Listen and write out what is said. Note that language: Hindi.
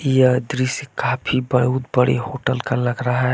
यह दृश्य काफी बहुत बड़े होटल का लग रहा है।